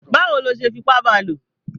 Báwo ló ṣe fipá ba lò?